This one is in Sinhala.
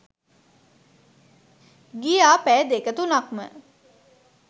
ගියා පැය දෙක තුනක්ම